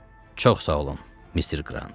Çox sağ olun, Mister Qrant.